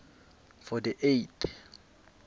for the eight